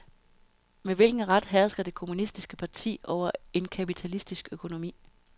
Med hvilken ret hersker det kommunistiske parti over en kapitalistisk økonomi?